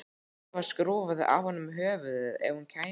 Eva skrúfaði af honum höfuðið ef hún kæmist að því.